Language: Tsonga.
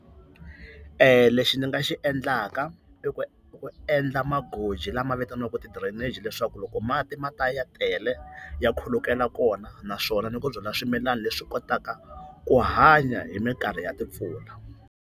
Lexi ni nga xi endlaka i ku ku endla magoji lama vitaniwaka ti-drainage leswaku loko mati ma ta ya tele ya khulukela kona, naswona ni ku byala swimilana leswi kotaka ku hanya hi minkarhi ya timpfula.